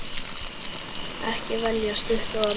Ekki velja stutt orð.